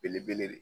Belebele de